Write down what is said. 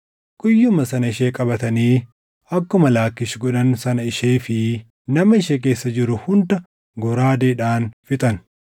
Guyyuma sana ishee qabatanii akkuma Laakkiish godhan sana ishee fi nama ishee keessa jiru hunda goraadeedhaan fixan.